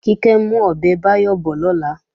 Kíkẹ́ ń mú ọbẹ̀ Báyọ̀ bọ̀ lọ́la